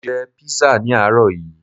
Mo jẹ písà ní àárọ̀ yií